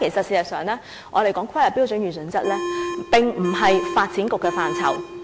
事實上，如果我們談論規劃標準與準則，這並非發展局的範疇。